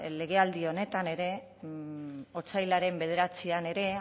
legealdi honetan ere otsailaren bederatzian ere